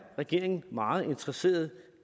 regeringen meget interesseret